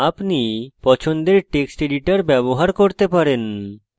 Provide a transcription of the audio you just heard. আপনি পছন্দের text editor ব্যবহার করতে পারেন